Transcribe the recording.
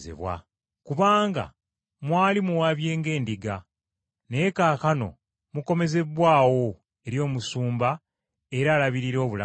Kubanga mwali muwabye ng’endiga, naye kaakano mukomezebbwaawo eri Omusumba era alabirira obulamu bwammwe.